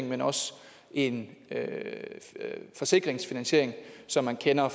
men også en forsikringsfinansiering som man kender